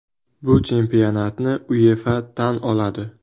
Bu chempionatni UEFA tan oladi”.